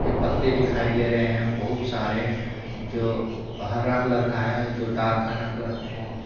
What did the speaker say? पत्ते दिखाई दे रहे हैं बहुत सारे जो हरा कलर का है जो डार्क हरा कलर का है।